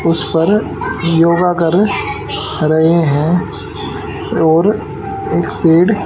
उस पर योगा कर रहें हैं और एक पेड़--